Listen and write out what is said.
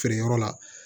Feere yɔrɔ la